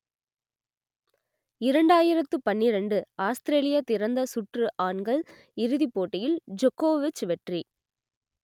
இரண்டாயிரத்து பன்னிரண்டு ஆஸ்திரேலிய திறந்த சுற்று ஆண்கள் இறுதிப் போட்டியில் ஜொக்கொவிச் வெற்றி